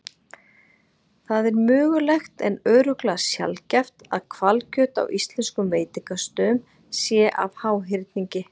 Það er mögulegt en örugglega sjaldgæft að hvalkjöt á íslenskum veitingastöðum sé af háhyrningi.